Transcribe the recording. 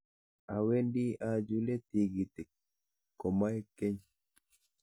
Awendi achule tikitik komaek keny.